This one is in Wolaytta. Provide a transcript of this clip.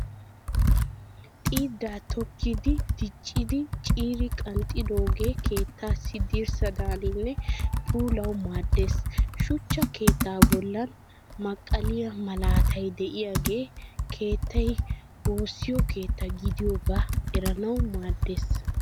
Xiiddaa tookkidi diccidhin ciiri qanxxidoogge keettaassi dirssadaaninne puulawu maaddes. Shuchcha keettaa bollan maqqaliyaa malaatay diyaagee keettay woosskedtta gidiyoogaa eranawu maaddes.